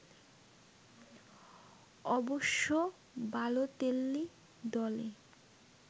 অবশ্য বালোতেল্লি দলে